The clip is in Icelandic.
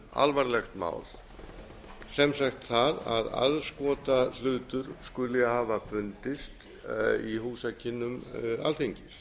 alvarlegt mál sem sagt það að aðskotahlutur skuli hafa fundist í húsakynnum alþingis